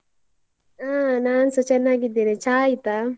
ಹಾ ನಾನ್ಸಾ ಚೆನ್ನಾಗಿದ್ದೇನೆ, ಚಾ ಆಯ್ತಾ?